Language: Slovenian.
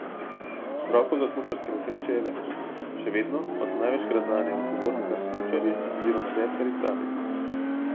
Vzrokov za smučarske nesreče je več, še vedno pa so največkrat zanje odgovorni kar smučarji oziroma deskarji sami.